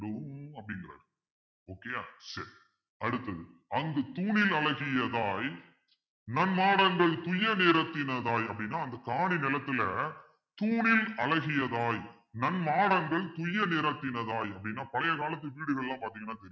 அங்கு தூணில் அழகியதாய் நன்மாடங்கள் துய்ய நிறத்தினதாய் அப்பிடின்னா அந்த காணி நெலத்துல தூணில் அழகியதாய் நன்மாடங்கள் தூய்ய நிறத்தினதாய் அப்பிடின்னா பழைய காலத்து வீடுகள்லாம் பார்த்தீங்கன்னா தெரியும்